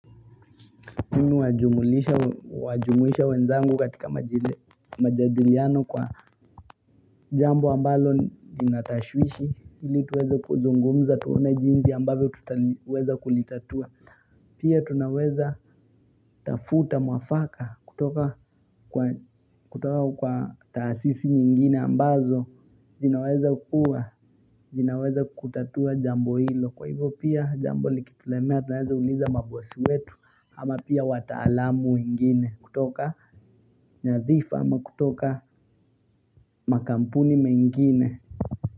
Mimi hujumulisha wenzangu katika majadiliano kwa jambo ambalo lina tashwishi Hili tuweza kuzungumza tuone jinsi ambavyo tutaweza kulitatua Pia tunaweza tafuta mwafaka kutoka kwa taasisi nyingine ambazo zinaweza kukua, zinaweza kutatua jambo hilo Kwa hivo pia jambo likitulemea tunaeza uliza mabosi wetu Ama pia wataalamu wengine kutoka nyadhifa ama kutoka makampuni mengine.